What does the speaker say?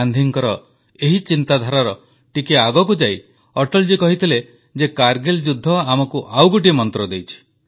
ଗାନ୍ଧୀଜୀଙ୍କର ଏହି ଚିନ୍ତାଧାରାର ଟିକିଏ ଆଗକୁଯାଇ ଅଟଳଜୀ କହିଥିଲେ ଯେ କାରଗିଲ ଯୁଦ୍ଧ ଆମକୁ ଆଉ ଗୋଟିଏ ମନ୍ତ୍ର ଦେଇଛି